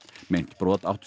meint brot áttu